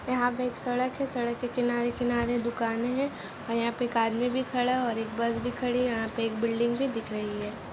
यहाँ पे एक सड़क है सड़क के किनारे किनारे दुकाने है और यहाँ पे एक आदमी खड़ा है और एक बस भी खड़ी है यहाँ पे एक बिल्डिंग भी दिख रही है।